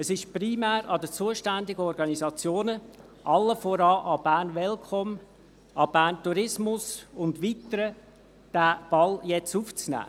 Es ist primär an den zuständigen Organisationen, allen voran an Bern Welcome, an Bern Tourismus und weiteren, diesen Ball jetzt aufzunehmen.